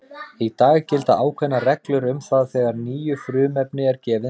Í dag gilda ákveðnar reglur um það þegar nýju frumefni er gefið nafn.